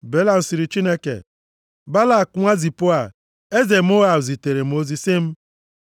Belam sịrị Chineke, “Balak nwa Zipoa eze Moab zitere m ozi sị m,